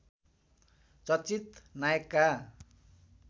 चर्चित नायकका